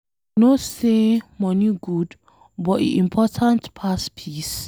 I know say money good but e important pass peace?